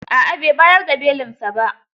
A'a bai bayar da belinsa ba.